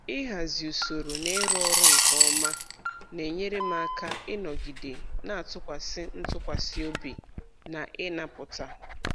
Ịhazi usoro na ịrụ ọrụ nke ọma na-enyere m aka ịnọgide na-atụkwasị ntụkwasị obi na ịnapụta